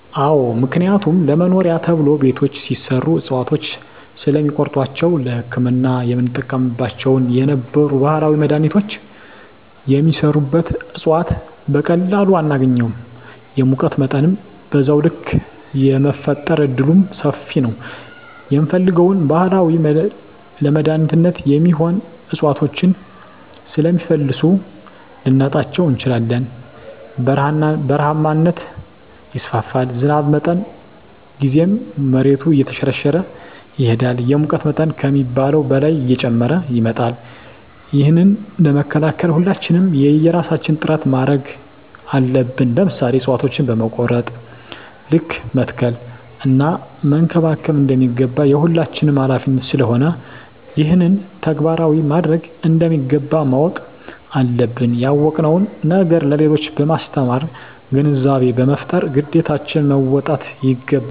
አዎ ምክንያቱም ለመኖሪያ ተብሎ ቤቶች ሲሰሩ እፅዋቶችን ስለሚቆርጧቸዉ ለህክምና የምንጠቀምባቸው የነበሩ ባህላዊ መድሀኒቶች የሚሰሩበት እፅዋት በቀላሉ አናገኝም የሙቀት መጠንም በዛዉ ልክ የመፈጠር እድሉምሰፊ ነዉ የምንፈልገዉን ባህላዊ ለመድኃኒትነት የሚሆኑ እፅዋቶችን ስለሚፈልሱ ልናጣቸዉ እንችላለን በረሀነት ይስፋፋል ዝናብ በመጣ ጊዜም መሬቱ እየተሸረሸረ ይሄዳል የሙቀት መጠን ከሚባለዉ በላይ እየጨመረ ይመጣል ይህንን ለመከላከል ሁላችንም የየራሳችን ጥረት ማድረግ አለብን ለምሳሌ እፅዋቶችን በቆረጥን ልክ መትከል እና መንከባከብ እንደሚገባ የሁላችንም ሀላፊነት ስለሆነ ይህንን ተግባራዊ ማድረግ እንደሚገባ ማወቅ አለብን ያወቅነዉን ነገር ለሌሎች በማስተማር ግንዛቤ በመፍጠር ግዴታችን መወጣት ይገባል